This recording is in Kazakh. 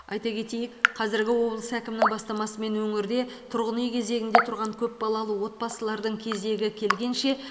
айта кетейік қазіргі облыс әкімінің бастамасымен өңірде тұрғын үй кезегінде тұрған көпбалалы отбасыларының кезегі келгенше